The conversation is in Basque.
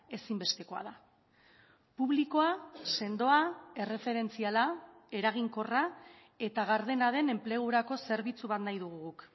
ezinbestekoa da publikoa sendoa erreferentziala eraginkorra eta gardena den enplegurako zerbitzu bat nahi dugu guk